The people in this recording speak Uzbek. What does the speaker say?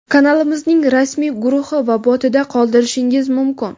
kanalimizning rasmiy guruhi va botida qoldirishingiz mumkin.